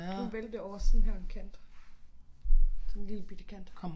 Hun væltede over sådan her en kant sådan lillebitte kant